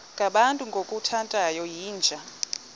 ngabantu ngokukhothana yinja